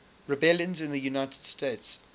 rebellions in the united states